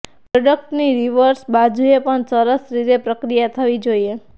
પ્રોડક્ટની રિવર્સ બાજુએ પણ સરસ રીતે પ્રક્રિયા થવી જોઈએ